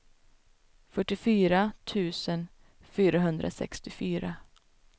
fyrtiofyra tusen fyrahundrasextiofyra